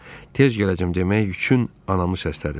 Tez gələcəm demək üçün anamı səslədim.